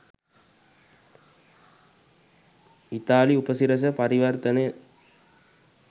ඉතාලි උපසිරැස පරිවර්තනය.